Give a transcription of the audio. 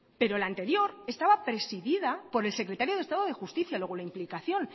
pero la anterior estaba presidida por el secretario de estado de justicia luego la implicación